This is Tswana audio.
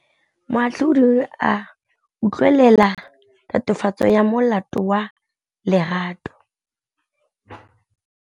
Moatlhodi o ne a utlwelela tatofatsô ya molato wa Lerato.